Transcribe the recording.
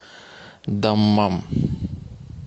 даммам